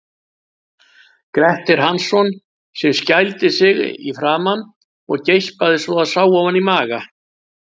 Gretti Hansson, sem skældi sig í framan og geispaði svo að sá ofan í maga.